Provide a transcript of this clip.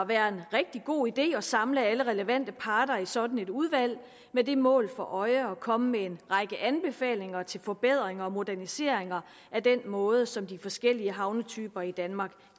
være en rigtig god idé at samle alle relevante parter i sådan et udvalg med det mål for at komme med en række anbefalinger til forbedringer og moderniseringer af den måde som de forskellige havnetyper i danmark